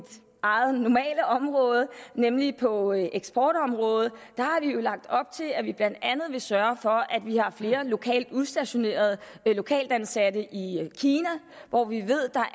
eget normale område nemlig på eksportområdet lagt op til at vi blandt andet vil sørge for at vi har flere lokalt udstationerede lokalt ansatte i kina hvor vi ved at der